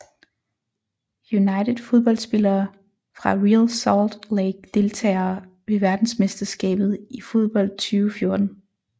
United Fodboldspillere fra Real Salt Lake Deltagere ved verdensmesterskabet i fodbold 2014